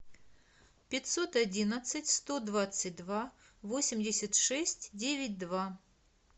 пятьсот одиннадцать сто двадцать два восемьдесят шесть девять два